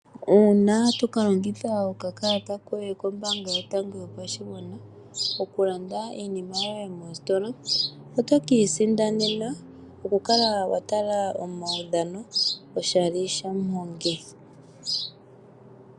Uuna to kalongitha okakalata koye kombaanga yotango yopashigwana, okulanda iinima yoye moositola, otoka isindanena oku kala wa tala omaudhano oshali shaMuhongi.